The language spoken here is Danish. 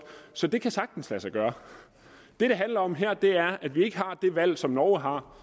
så det kan sagtens lade sig gøre det det handler om her er at vi ikke har det valg som norge har